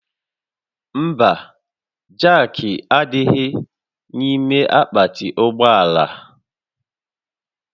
Mba, jaakị ahụ adịghị n'ime akpati ụgbọ ala